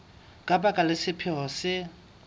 ka baka la sephetho se